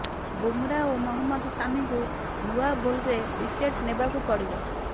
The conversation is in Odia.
ବୁମ୍ରା ଓ ମହମ୍ମଦ ସାମିଙ୍କୁ ନୂଆବଲ୍ରେ ୱିକେଟ ନେବାକୁ ପଡ଼ିବ